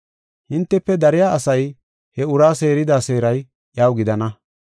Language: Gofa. Hintefe dariya asay he uraa seerida seeray iyaw gidana.